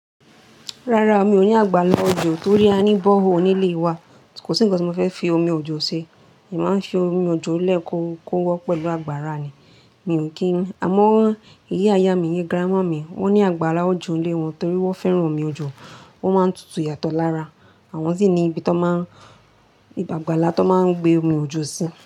Rárá, mi ò ní àgbàlá ojò torí a ní bọ́rehole nílé wa. Kò sí ǹkan tí mo fẹ́ fi omi ojò ṣe. Èmi máa ń fi omi ojò lẹ kó kó wọ́ pẹ̀lú àgbàrá ni. Mi ò kí ń. Àmọ́, ìyá-ìyá mi, ìyen-grandmà mi, wọ́n ní àgbàale ojò nílé wọn torí wọ́n fẹ́ran omi ojò. O máa ń tutù yàtọ̀ lára, àwọn sì ní ibi tó máa ń, ibi àgbàlá tó máa ń gbé omi ojò sí.